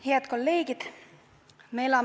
Head kolleegid!